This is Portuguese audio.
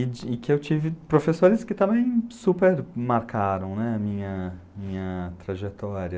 E que eu tive professores que também super marcaram, né, a minha, minha trajetória.